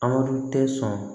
An tɛ sɔn